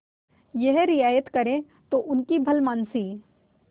यह रियायत करें तो उनकी भलमनसी